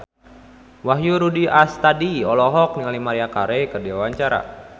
Wahyu Rudi Astadi olohok ningali Maria Carey keur diwawancara